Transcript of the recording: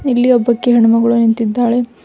ಇಲ್ಲಿ ಒಬ್ಬಾಕಿ ಹೆಣ್ಣು ಮಗಳು ನಿಂತಿದ್ದಾಳೆ.